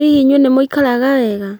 Hihi inyuĩ nĩ mũikaraga wega?